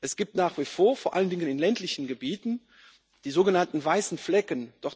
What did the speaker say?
Es gibt nach wie vor vor allen Dingen in ländlichen Gebieten die sogenannten weißen Flecken.